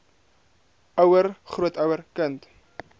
ouer grootouer kind